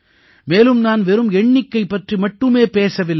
மேலும் நான் வெறும் எண்ணிக்கை பற்றி மட்டுமே பேசவில்லை